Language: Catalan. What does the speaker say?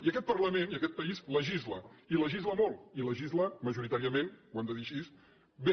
i aquest parlament i aquest país legisla i legisla molt i legisla majoritàriament ho hem de dir així bé